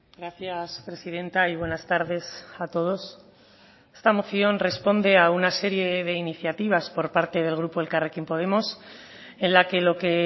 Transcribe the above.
gracias presidenta y buenas tardes a todos esta moción responde a una serie de iniciativas por parte del grupo elkarrekin podemos en la que lo que